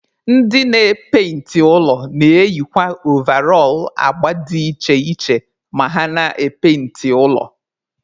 Ndị na-epainti ụlọ na-eyikwa ovarọl agba dị iche iche ma ha na-epainti ụlọ.